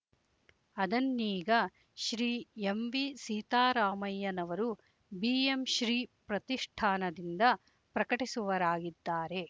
ಅದನ್ನೀಗ Shri M V ಸೀತಾರಾಮಯ್ಯನವರು B M Shri ಪ್ರತಿಷ್ಠಾನದಿಂದ ಪ್ರಕಟಿಸುವರಾಗಿದ್ದಾರೆ